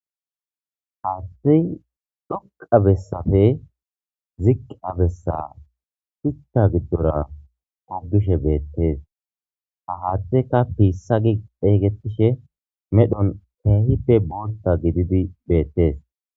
Haattey dhoqabessafe ziqabessa tutta giddora qogishe beettees ha haatteka piissagi eeygetishe medhon keehife bolta gididi beettees.